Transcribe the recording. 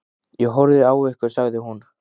Ég horfði á ykkur, sagði hún.